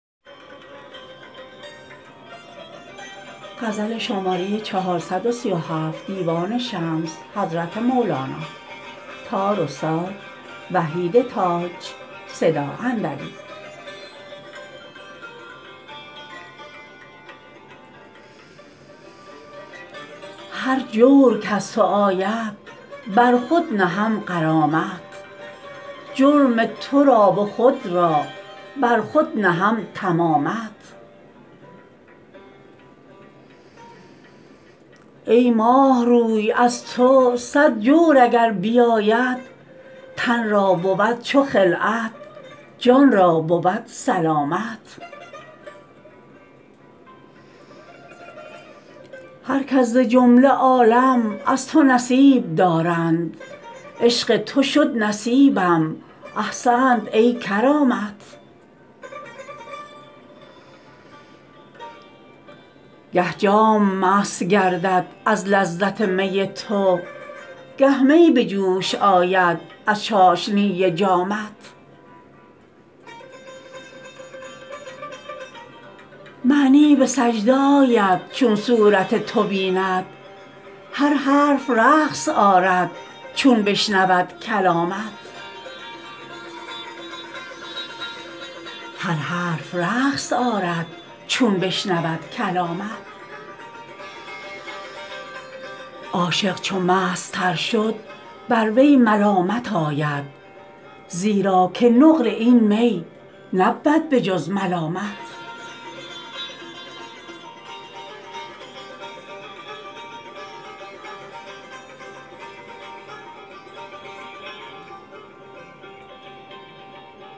هر جور که ز تو آید بر خود نهم غرامت جرم تو را و خود را بر خود نهم تمامت ای ماه روی از تو صد جور اگر بیاید تن را بود چو خلعت جان را بود سلامت هر کس ز جمله عالم از تو نصیب دارند عشق تو شد نصیبم احسنت ای کرامت گه جام مست گردد از لذت می تو گه می به جوش آید از چاشنی جامت معنی به سجده آید چون صورت تو بیند هر حرف رقص آرد چون بشنود کلامت عاشق چو مست تر شد بر وی ملامت آید زیرا که نقل این می نبود به جز ملامت